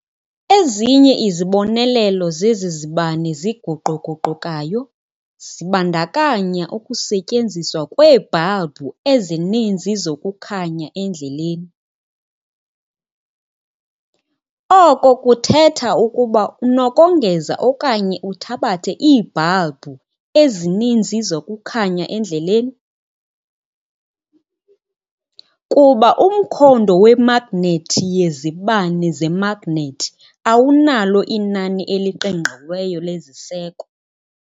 Ezinye izibonelelo zezi zibane ziguquguqukayo zibandakanya ukusetyenziswa kweebhalbhu ezininzi zokukhanya endleleni, oko kuthetha ukuba unokongeza okanye uthabathe iibhalbhu ezininzi zokukhanya endleleni, kuba umkhondo wemagnethi yezibane zemagnethi awunalo inani eliqingqiweyo leziseko.